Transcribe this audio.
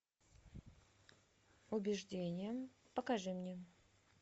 убеждение покажи мне